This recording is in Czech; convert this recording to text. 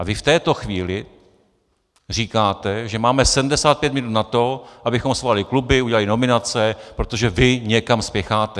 A vy v této chvíli říkáte, že máme 75 minut na to, abychom svolali kluby, udělali nominace, protože vy někam spěcháte.